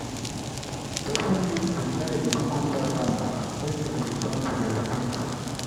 person need to guide the cucumber vines make dem return to their sticks.